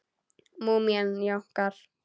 Múmían jánkar.